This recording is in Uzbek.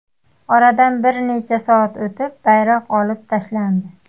Oradan bir necha soat o‘tib bayroq olib tashlandi.